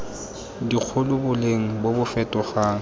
dikgolo boleng bo bo fetogang